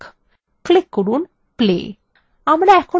click করুন play